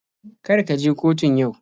Kar ka je kotun yau.